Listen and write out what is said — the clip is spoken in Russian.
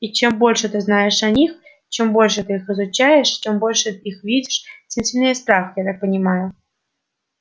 и чем больше ты знаешь о них чем больше ты их изучаешь чем больше их видишь тем сильнее страх я так понимаю